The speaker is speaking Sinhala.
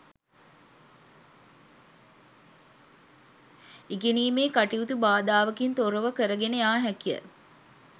ඉගෙනීම් කටයුතු බාධාවකින් තොරව කරගෙන යා හැක